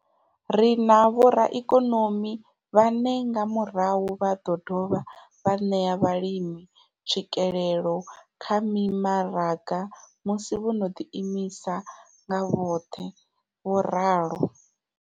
Ri na vhoraikonomi vhane nga murahu vha ḓo dovha vha ṋea vhalimi tswikelelo kha mimaraga musi vho no ḓiimisa nga vhoṱhe, vho ralo.